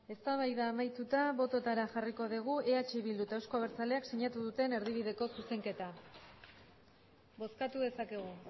eztabaida amaituta botoetara jarriko dugu eh bildu eta euzko abertzaleak sinatu duten erdibideko zuzenketa bozkatu dezakegu